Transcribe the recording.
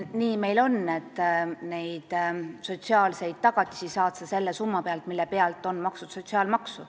Nii meil on, et sotsiaalseid tagatisi saad sa selle summa pealt, mille pealt on makstud sotsiaalmaksu.